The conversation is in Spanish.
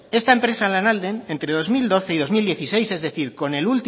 esta empresa lanalden entre dos mil doce y dos mil dieciséis es decir con